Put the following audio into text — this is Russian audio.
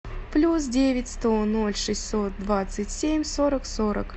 плюс девять сто ноль шестьсот двадцать семь сорок сорок